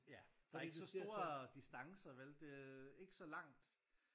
Ja der er ikke så store distancer vel det ikke så langt